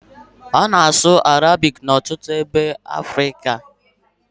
A na-asụ Arabic n'ọtụtụ ebe n'ebe ugwu Afrịka